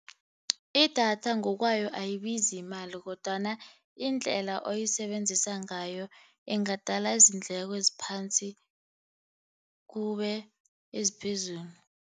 Idatha ngokwayo ayibizi imali, kodwana indlela oyisebenzisa ngayo ingadala izindleko eziphansi kube eziphezulu.